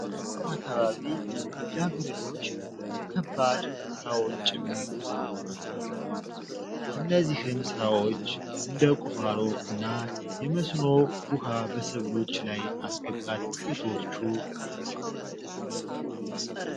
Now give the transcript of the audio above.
በገጠር አካባቢ ልጃገረዶች በከባድ ስራዎች ጭምር ተሰማርተው ይገኛሉ። ከነዚህም ስራዎች እንደ ቁፋሮ እና የመስኖ ውሃ በሰብሎች ላይ ማስገባት ጥቂቶች ናችው።